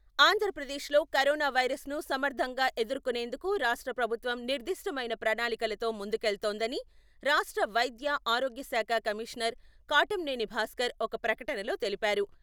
ఆంధ్రప్రదేశ్లో కరోనా వైరసును సమర్థంగా ఎదుర్కొనేందుకు రాష్ట్ర ప్రభుత్వం నిర్దిష్టమైన ప్రణాళికలతో ముందుకెళ్తోందని రాష్ట్ర వైద్య, ఆరోగ్య శాఖ కమిషనర్ కాటంనేని భాస్కర్ ఒక ప్రకటనలో తెలిపారు.